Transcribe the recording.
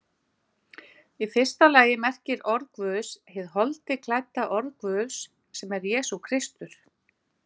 Í fyrsta lagi merkir orð Guðs hið holdi klædda orð Guðs, sem er Jesús Kristur.